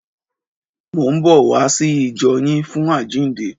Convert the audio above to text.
Mò ń bọ̀ wá sí ìjọ yín fún àjíǹde.